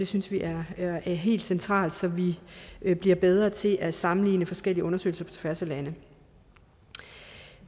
synes vi er er helt centralt så vi bliver bedre til at sammenligne forskellige undersøgelser på tværs af lande